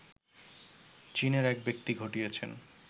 চীনের একব্যক্তি ঘটিয়েছেন